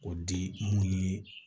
O di mun ni